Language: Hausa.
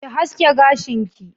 Ki haske gashin ki!